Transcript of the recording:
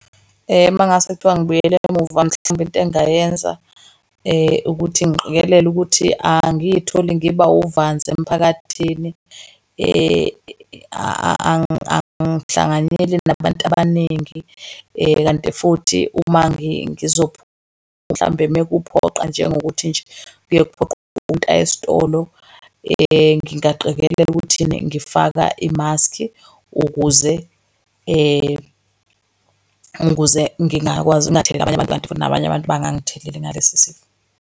Uma ngase kuthiwa ngibuyele mhlawumbe into engingayenza ukuthi ngiqikelele ukuthi angiy'tholi ngiba uvanzi emphakathini. Angihlanganyeli nabantu abaningi, kanti futhi uma ngizophuma mhlambe uma kuphoqa njengokuthi nje kuye kuphoqe ukuthi umuntu eye esitolo. Ngingaqikelela ukuthi ena ngifaka i-mask ukuze , ukuze ngingakwazi ngingatheleli abanye abantu futhi nabanye abantu bangangitheleli ngalesi sifo.